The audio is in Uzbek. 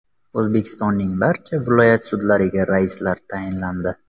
O‘zbekistonning barcha viloyat sudlariga raislar tayinlandi.